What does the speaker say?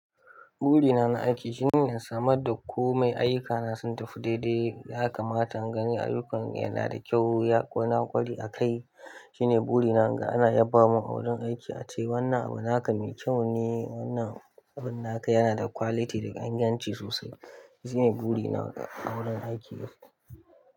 Burina na aiki shine in samar da komai ayyukana sun tafi daidai, ya kamata in gani ayyukan yana da kyau, ya na kware akai. Shine burina ga ana yaba min a wurin aiki ace wannan abu naka me kyau ne, wannan abun naka yana da quality da inganci sosai. Shine burina ga a wurin aiki yau.